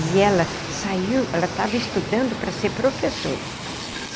E ela saiu, ela estava estudando para ser professora.